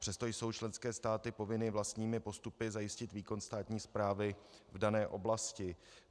Přesto jsou členské státy povinny vlastními postupy zajistit výkon státní správy v dané oblasti.